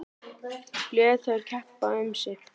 Lét þær keppa um sig.